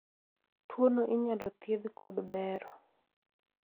tuono inyalo thiedh kod bero